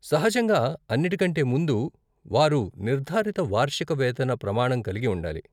సహజంగా, అన్నిటి కంటే ముందు, వారు నిర్ధారిత వార్షిక వేతన ప్రమాణం కలిగి ఉండాలి.